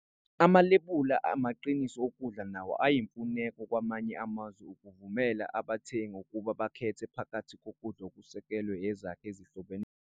Amalebula amaqiniso okudla nawo ayimfuneko kwamanye amazwe ukuvumela abathengi ukuba bakhethe phakathi kokudla okusekelwe ezakhi ezihlobene.